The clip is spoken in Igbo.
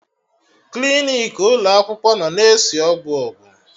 Klinik ụlọ akwụkwọ nọ na-esi ọgwụ ọgwụ